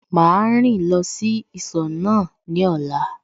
Màá rìn lọ sí ìsọ̀ náà ní ọ̀la